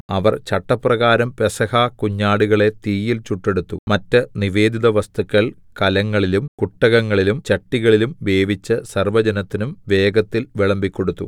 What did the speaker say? അവർ ചട്ടപ്രകാരം പെസഹ കുഞ്ഞാടുകളെ തീയിൽ ചുട്ടെടുത്തു മറ്റ് നിവേദിത വസ്തുക്കൾ കലങ്ങളിലും കുട്ടകങ്ങളിലും ചട്ടികളിലും വേവിച്ച് സർവ്വജനത്തിനും വേഗത്തിൽ വിളമ്പിക്കൊടുത്തു